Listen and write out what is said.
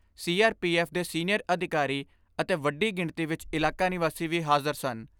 F ਦੇ senior ਅਧਿਕਾਰੀ ਅਤੇ ਵੱਡੀ ਗਿਣਤੀ ਵਿਚ ਇਲਾਕਾ ਨਿਵਾਸੀ ਵੀ ਹਾਜ਼ਰ ਸਨ।